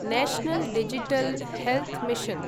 national digital health mission